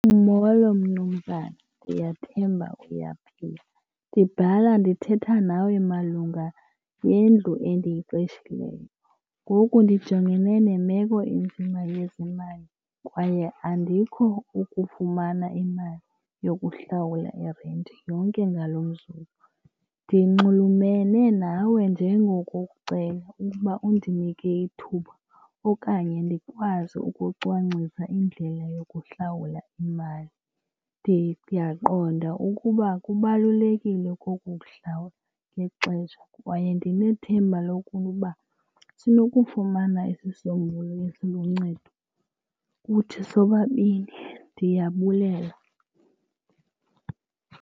Molo mnumzana, ndiyathemba uyaphila. Ndibhala ndithetha nawe malunga nendlu endiyiqeshileyo. Ngoku ndijongene nemeko enzima yezemali kwaye andikho ukufumana imali yokuhlawula irenti yonke ngalo mzuzu. Ndinxulumene nawe njengokukucela ukuba undinike ithuba okanye ndikwazi ukucwangcisa indlela yokuhlawula imali. Ndiyaqonda ukuba kubalulekile koku kuhlawula ngexesha kwaye ndinethemba lokuba sinokufumana isisombululo esiluncedo kuthi sobabini. Ndiyabulela.